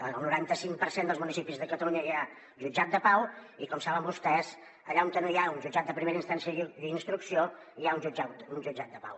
al noranta cinc per cent dels municipis de catalunya hi ha jutjat de pau i com saben vostès allà on no hi ha un jutjat de primera instància i instrucció hi ha un jutjat de pau